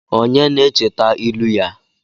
Onye na-echeta ilu ya?